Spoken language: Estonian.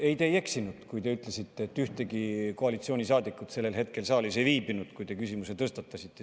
Ei, te ei eksinud, kui te ütlesite, et ühtegi koalitsioonisaadikut sellel hetkel saalis ei viibinud, kui te küsimuse tõstatasite.